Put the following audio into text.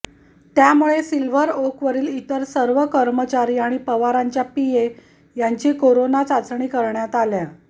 त्यामुळे सिल्व्हर ओकवरील इतर सर्व कर्मचारी आणि पवारांच्या पीए यांचीही कोरोना चाचणी करण्यात आल्या